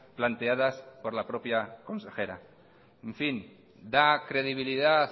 planteadas por la propia consejera en fin da credibilidad